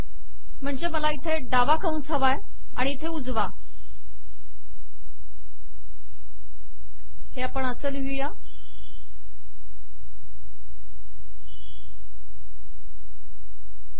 म्हणजे मला इथे डावा कंस हवा आहे आणि इथे उजवा कंस हवा आहे